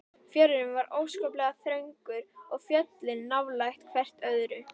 Fjörðurinn var óskaplega þröngur og fjöllin nálægt hvert öðru.